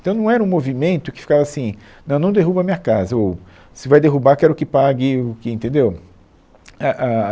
Então não era um movimento que ficava assim, não, não derruba a minha casa, ou se vai derrubar quero que pague o que, entendeu. A a